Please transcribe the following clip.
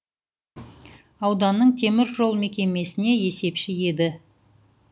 ауданның темір жол мекемесіне есепші еді